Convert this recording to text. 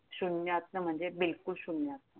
शून्यातनं म्हणजे बिलकुल शून्यातनं